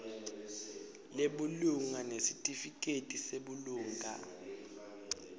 lebulunga nesitifiketi sebulunga